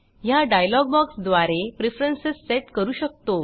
ह्या डायलॉग बॉक्सद्वारे preference set करू शकतो